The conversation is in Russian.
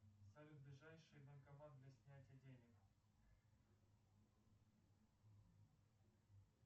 салют ближайший банкомат для снятия денег